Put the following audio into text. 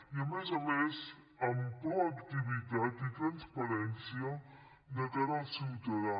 i a més a més amb proactivitat i transparència de cara al ciutadà